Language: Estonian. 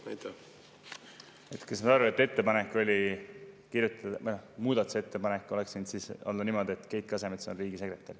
Ma saan aru, et muudatusettepanek oleks võinud siis olla niisugune, et Keit Kasemets on riigisekretär.